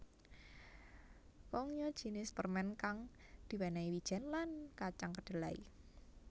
Kongnyeot jinis permen kang diwenehi wijen lan kacang kedelai